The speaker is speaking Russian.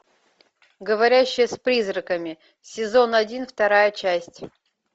говорящая с призраками сезон один вторая часть